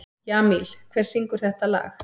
Jamil, hver syngur þetta lag?